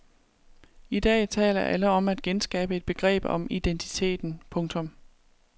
I dag taler alle om at genskabe et begreb om identiteten. punktum